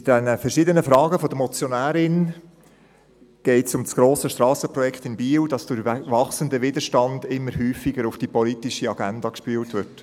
Bei den verschiedenen Fragen der Motionärin geht es um das grosse Strassenprojekt in Biel, welches durch den wachsenden Widerstand immer häufiger auf die politische Agenda gespült wird.